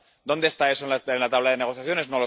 ¿Dónde está eso en la tabla de negociaciones?